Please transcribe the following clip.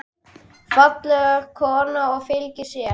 Falleg kona og fylgin sér.